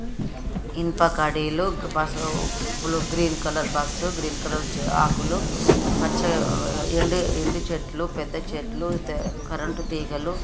ఇనుప కడీలు bus blue green colour bus green colour చే ఆకులు పచ్చ ఎండి ఎండి చెట్లు పెద్ద చెట్లు తె కరెంటు తీగలు--